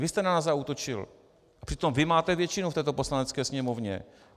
Vy jste na nás zaútočil, přitom vy máte většinu v této Poslanecké sněmovně.